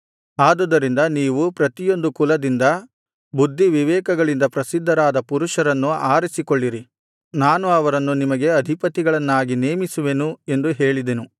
ಆದುದರಿಂದ ನೀವು ಪ್ರತಿಯೊಂದು ಕುಲದಿಂದ ಬುದ್ಧಿವಿವೇಕಗಳಿಂದ ಪ್ರಸಿದ್ಧರಾದ ಪುರುಷರನ್ನು ಆರಿಸಿಕೊಳ್ಳಿರಿ ನಾನು ಅವರನ್ನು ನಿಮಗೆ ಅಧಿಪತಿಗಳನ್ನಾಗಿ ನೇಮಿಸುವೆನು ಎಂದು ಹೇಳಿದೆನು